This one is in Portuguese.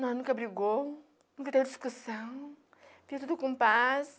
Nós nunca brigou, nunca teve discussão, fizemos tudo com paz.